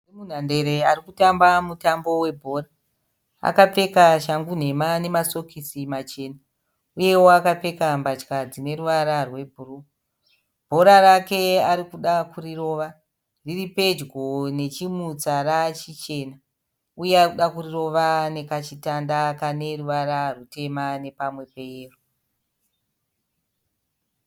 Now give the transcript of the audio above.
Munhu ari munhandare ari kutamba mutambo webhora akapfeka shangu nhema nemasokisi Machena uyewo akapfeka mbatya dzine ruvara rwebhuruu. Bhora rake arikuda kurirova riripedyo nechimutsara chichena uye ari kuda kurirova nekachitanda Kane ruvara rutema ne pamwe peyero